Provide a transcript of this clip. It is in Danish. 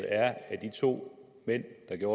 er at de to mænd der gør